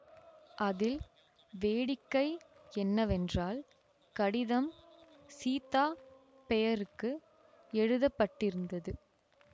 அதில் வேடிக்கை என்னவென்றால் கடிதம் சீதா பெயருக்கு எழுத பட்டிருந்தது